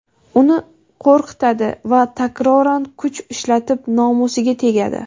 uni qo‘rqitadi va takroran kuch ishlatib nomusiga tegadi.